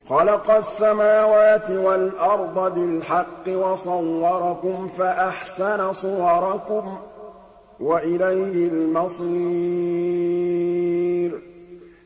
خَلَقَ السَّمَاوَاتِ وَالْأَرْضَ بِالْحَقِّ وَصَوَّرَكُمْ فَأَحْسَنَ صُوَرَكُمْ ۖ وَإِلَيْهِ الْمَصِيرُ